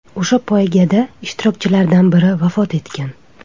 O‘sha poygada ishtirokchilardan biri vafot etgan.